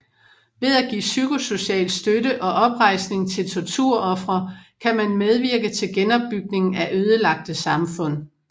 Ved at give psykosocial støtte og oprejsning til torturofre kan man medvirke til genopbygningen af ødelagte samfund